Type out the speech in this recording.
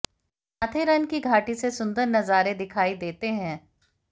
माथेरन की घाटी से सुंदर नजारे दिखाई देते हैं